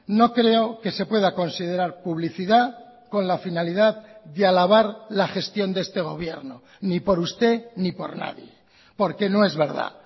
no creo que se pueda considerar publicidad con la finalidad de alabar la gestión de este gobierno ni por usted ni por nadie porque no es verdad